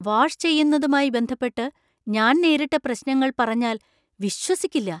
Wash ചെയ്യുന്നതുമായി ബന്ധപ്പെട്ട് ഞാൻ നേരിട്ട പ്രശ്‌നങ്ങള്‍ പറഞ്ഞാല്‍ വിശ്വസിക്കില്ല.